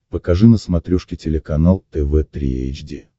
покажи на смотрешке телеканал тв три эйч ди